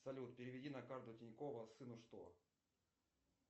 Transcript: салют переведи на карту тинькова сыну что